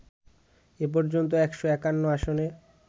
এ পর্যন্ত ১৫১ আসনে